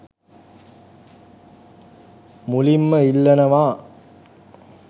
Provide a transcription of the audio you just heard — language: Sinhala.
මුලින්ම ඉල්ලනවා.